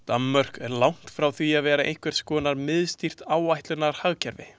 Danmörk er langt frá því að vera einhvers konar miðstýrt áætlanahagkerfi.